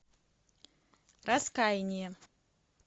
раскаяние